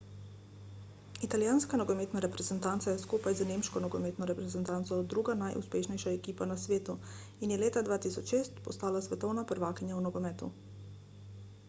italijanska nogometna reprezentanca je skupaj z nemško nogometno reprezentanco druga najuspešnejša ekipa na svetu in je leta 2006 postala svetovna prvakinja v nogometu